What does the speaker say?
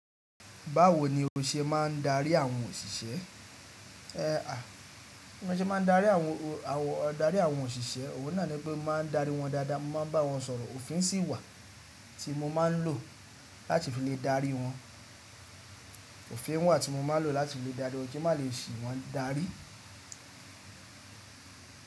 Báwo ni o ṣe máa ń darí àwọn òṣìṣẹ́? Ẹ à, bí mo ṣe máa ń darí àwọn, darí àwọn òṣìṣẹ́? Òhun náà ni pé mo máa ń darí wọn dáadáa, mo máa ń bá wọn sọ̀rọ̀, òfin sì wà tí mo máa ń lò láti fi lè darí wọn. Òfin wà tí mo máa ń lò láti fi lè darí wọn kí n má lè sì wọ́n darí.